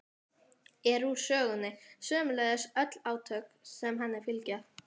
er úr sögunni, sömuleiðis öll átök sem henni fylgja.